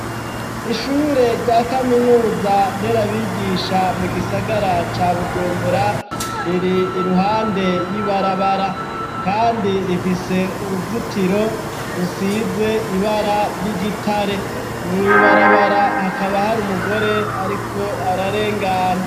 Ishure rya kaminuza nderabigisha mu gisagara ca bujumbura ,riri iruhande y'ibarabara, kandi rifise uruzitiro rusize ibara ry'igitare, mw' ibarabara hakaba hari umugore ariko ararengana.